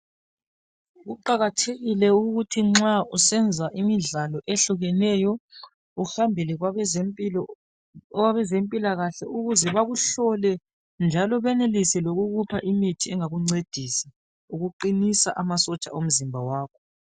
kuqakathekile ukuba nxa usenza imidlalo ehlukeneyo uhambele kwabezempilakahle ukuze bakuhlole njalo benelise lokukupha imithi engakuncedisa ukuqinisa amasotsha womzimba wakho.